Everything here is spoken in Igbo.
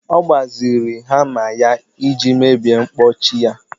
Ọ gbaziri hama ya iji mebie mkpọchi ya